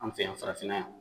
An fɛ yan farafinna yan